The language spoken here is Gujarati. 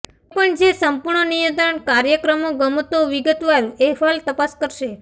કોઈપણ જે સંપૂર્ણ નિયંત્રણ કાર્યક્રમો ગમતો વિગતવાર અહેવાલ તપાસ કરશે